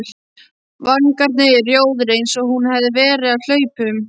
Vangarnir rjóðir eins og hún hefði verið á hlaupum.